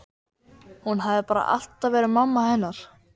Hún hafði bara alltaf verið mamma hennar